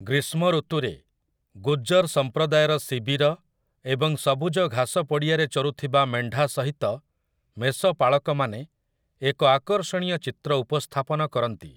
ଗ୍ରୀଷ୍ମ ଋତୁରେ, ଗୁଜ୍ଜର୍ ସମ୍ପ୍ରଦାୟର ଶିବିର ଏବଂ ସବୁଜ ଘାସ ପଡ଼ିଆରେ ଚରୁଥିବା ମେଣ୍ଢା ସହିତ ମେଷପାଳକମାନେ ଏକ ଆକର୍ଷଣୀୟ ଚିତ୍ର ଉପସ୍ଥାପନ କରନ୍ତି ।